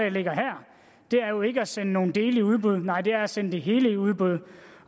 ligger her er jo ikke at sende nogle dele i udbud nej det er at sende det hele i udbud